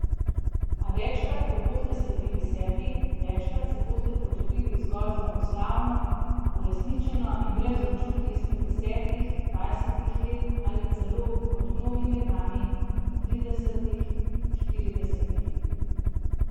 A večkrat ko boste sledili sebi, večkrat se boste počutili zgolj zmagoslavno, uresničeno in brez občutij izpred desetih, dvajsetih let ali celo, kot mnogi med nami, tridesetih, štiridesetih ...